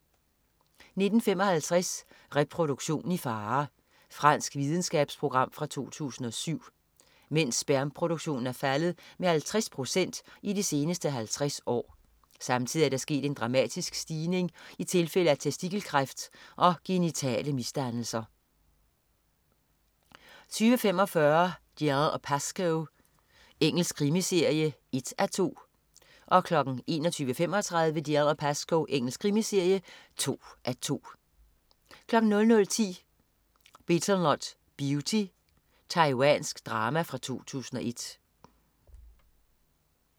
19.55 Reproduktion i fare. Fransk videnskabsprogram fra 2007. Mænds spermproduktion er faldet med 50 procent i de seneste 50s år. Samtidig er der sket en dramatisk stigning i tilfælde af testikelkræft og genitale misdannelser 20.45 Dalziel & Pascoe. Engelsk krimiserie (1:2) 21.35 Dalziel & Pascoe. Engelsk krimiserie (2:2) 00.10 Betelnut Beauty. Taiwansk drama fra 2001